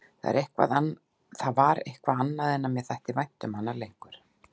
Það var eitthvað annað en mér þætti vænt um hana lengur.